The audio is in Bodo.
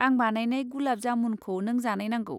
आं बानायनाय गुलाब जामुनखौ नों जानायनांगौ।